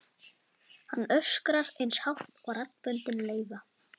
Hann öskrar eins hátt og raddböndin leyfa.